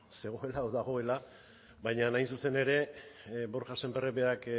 zegoela edo dagoela baina hain zuzen ere borja semperrek berak